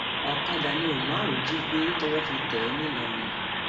ọkadà ni umar jí gbé tọwọ fi tẹ ẹ ńlọrọrìn